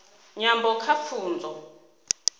nyambo kha pfunzo